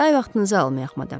Daha vaxtınızı almayıq, madam.